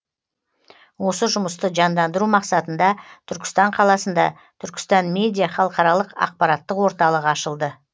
осы жұмысты жандандыру мақсатында түркістан қаласында түркістан медиа халықаралық ақпараттық орталығы ашылды